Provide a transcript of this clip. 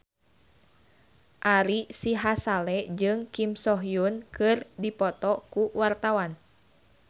Ari Sihasale jeung Kim So Hyun keur dipoto ku wartawan